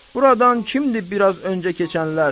Buradan kimdir biraz öncə keçənlər?